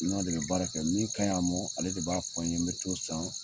N n'a de bɛ baara kɛ min ka ɲi a ma ale de b'a fɔ n ye n bɛ t'o san.